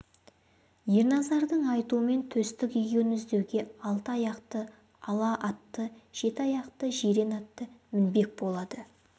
ерназардың айтуымен төстік егеуін іздеуге алты аяқты ала атты жеті аяқты жирен атты мінбек болады